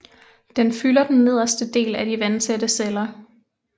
Den fylder den nederste del af de vandtætte celler